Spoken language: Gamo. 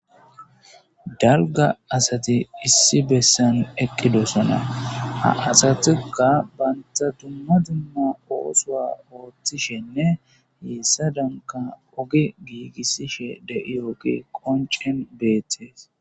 dalga asati issi bessan eqqidosona ha asatuka banta dumma dimma oosoa ooththishenne heessa danka oge giigissishe de7iyooge qoncen beettees